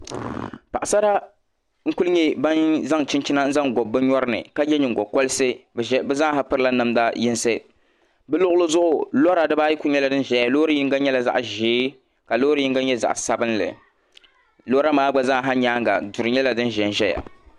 Paɣasara n ku nyɛ ban zaŋ chinchina n zaŋ gobi bi nyori ni ka yɛ nyingokoriti bi zaaha pirila namdi yinsi bi luɣuli zuɣu kora dibaayi ku nyɛla din ʒɛya Loori yinga nyɛla zaɣ ʒiɛ ka loori yinga nyɛ zaɣ sabinli lora maa gba zaaha nyaanga duri nyɛla din ʒɛnʒɛya